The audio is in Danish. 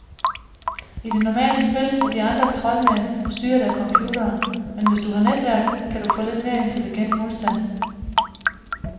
I det normale spil er de andre troldmænd styret af computeren, men hvis du har netværk kan du få lidt mere intelligent modstand.